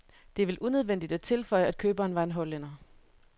Det er vel unødvendigt at tilføje, at køberen var en hollænder.